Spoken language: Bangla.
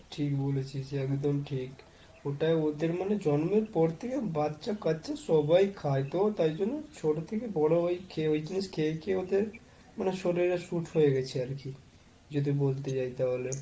ঠিক বলেছিস একদম ঠিক। ওটাই ওদের মানে জন্মের পর থেকে বাচ্চা কাঁচ্ছা সবাই খায় তো তাই জন্যই ছোট থেকে বড় হয়েই ওই জিনিস খেয়ে খেয়েই মানে শরীরে suit হয়ে গেছে আর কি। যদি বলতে যাই তাহলে।